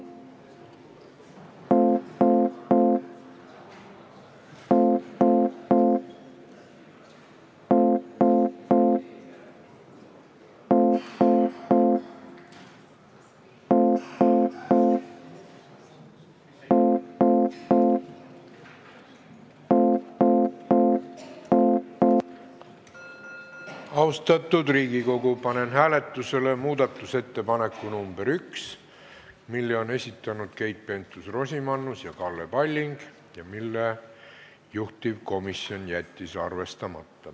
Austatud Riigikogu, panen hääletusele muudatusettepaneku nr 1, mille on esitanud Keit Pentus-Rosimannus ja Kalle Palling ning mille juhtivkomisjon on jätnud arvestamata.